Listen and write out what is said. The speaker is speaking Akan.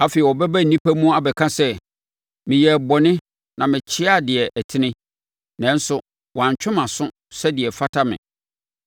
Afei ɔbɛba nnipa mu abɛka sɛ, ‘Meyɛɛ bɔne na mekyeaa deɛ ɛtene, nanso wantwe mʼaso sɛdeɛ ɛfata me.